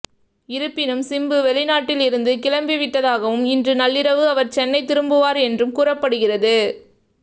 இருப்பினும் சிம்பு வெளிநாட்டில் இருந்து கிளம்பிவிட்டதாகவும் இன்று நள்ளிரவு அவர் சென்னை திரும்புவார் என்றும் கூறப்படுகிறது